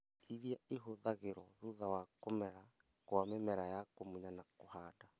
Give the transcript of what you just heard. iria ĩhũthagĩrwo thutha wa kũmera kwa mĩmera ya kũmunya na kũhanda